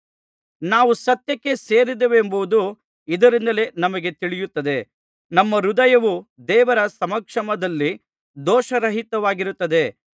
ನಾವು ಸತ್ಯಕ್ಕೆ ಸೇರಿದವರೆಂಬುದು ಇದರಿಂದಲೇ ನಮಗೆ ತಿಳಿಯುತ್ತದೆ ನಮ್ಮ ಹೃದಯವು ದೇವರ ಸಮಕ್ಷಮದಲ್ಲಿ ದೋಷರಹಿತವಾಗಿರುತ್ತದೆ